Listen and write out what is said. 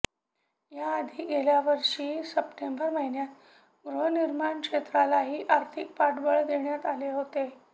या आधी गेल्यावर्षी सप्टेंबर महिन्यात गृहनिर्माण क्षेत्रालाही आर्थिक पाठबळ देण्यात आले होते